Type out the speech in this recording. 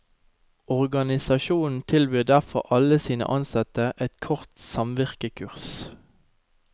Organisasjonen tilbyr derfor alle sine ansatte et kort samvirkekurs.